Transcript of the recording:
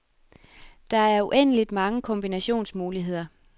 Der er uendeligt mange kombinationsmuligheder.